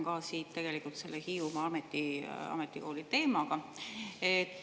Ma jätkan selle Hiiumaa Ametikooli teemaga.